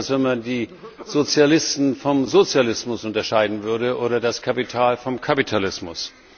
Das ist so, als wenn man die Sozialisten vom Sozialismus unterscheiden würde oder das Kapital vom Kapitalismus.